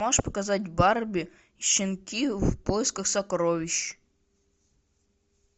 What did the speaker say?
можешь показать барби щенки в поисках сокровищ